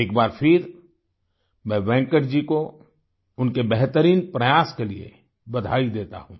एक बार फिर मैं वेंकट जी को उनके बेहतरीन प्रयास के लिए बधाई देता हूँ